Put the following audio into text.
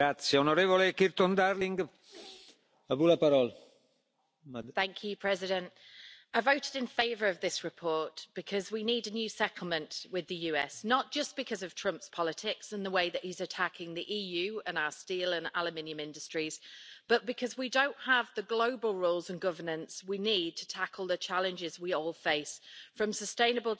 Mr President, I voted in favour of this report because we need a new settlement with the USA, not just because of Trump's politics and the way he is attacking the EU and our steel and aluminium industries but also because we don't have the global rules and governance we need to tackle the challenges we all face, from sustainable development to security, without the USA at the table.